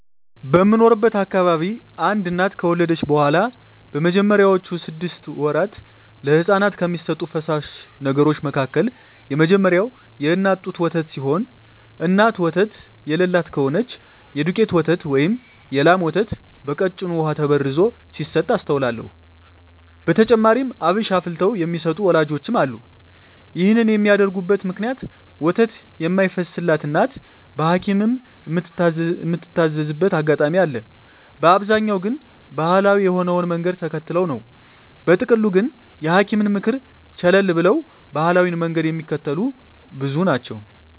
በምኖርበት አካባቢ አንድ እናት ከወለደች በኋላ በመጀመሪያወቹ ስድስት ወራት ለህጻናት ከሚሰጡ ፈሳሽ ነገሮች መካከል የመጀመሪያው የእናት ጡት ወተት ሲሆን እናት ወተት የለላት ከሆነች የዱቄት ወተት ወይም የላም ወተት በቀጭኑ በውሃ ተበርዞ ሲሰጥ አስተውላለው። በተጨማሪም አብሽ አፍልተው የሚሰጡ ወላጆችም አሉ። ይህን የሚያደርጉበት ምክንያት ወተት የማይፈስላት እናት በሀኪምም ምትታዘዝበት አጋጣሚ አለ፤ በአብዛኛው ግን ባሀላዊ የሆነውን መንገድ ተከትለው ነው። በጥቅሉ ግን የሀኪምን ምክር ቸለል ብለው ባሀላዊውን መንገድ ሚከተሉ ብዙ ናቸው።